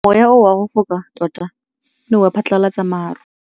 Mowa o wa go foka tota o ne wa phatlalatsa maru.